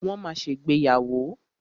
Wọ́n ma ṣègbéyàwó.